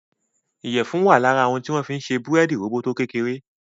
iyẹfun wá lára òun tí wón fí ń ṣe Búrẹ́ẹ́dì róbótó kékeré.